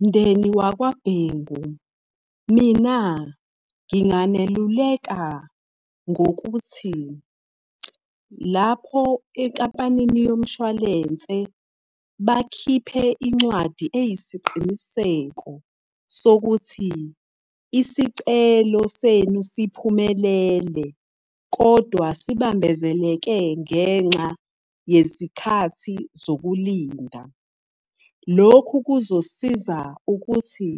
Mndeni wakwaBhengu, mina nginganeluleka ngokuthi, lapho enkampanini yomshwalense bakhiphe incwadi eyisiqiniseko sokuthi isicelo senu siphumelele, kodwa sibambezeleke ngenxa yezikhathi zokulinda. Lokhu kuzosiza ukuthi